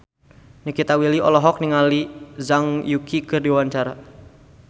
Nikita Willy olohok ningali Zhang Yuqi keur diwawancara